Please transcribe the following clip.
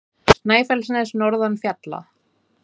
Snæfellsnes norðan fjalla.